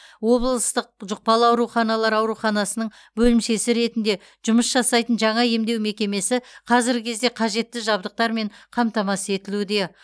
облыстық жұқпалы ауруханалар ауруханасының бөлімшесі ретінде жұмыс жасайтын жаңа емдеу мекемесі қазіргі кезде қажетті жабдықтармен қамтамасыз етілуде